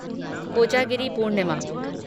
Kojagiri Purnima